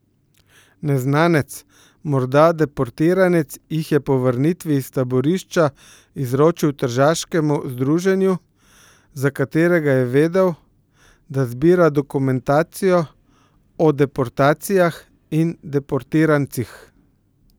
Neznanec, morda deportiranec jih je po vrnitvi iz taborišča izročil tržaškemu združenju, za katerega je vedel, da zbira dokumentacijo o deportacijah in deportirancih.